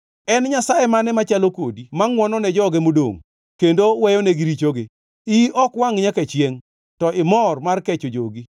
En Nyasaye mane machalo kodi ma ngʼwono ne joge modongʼ, kendo weyonegi richogi? Iyi ok wangʼ nyaka chiengʼ, to imor mar kecho jogi.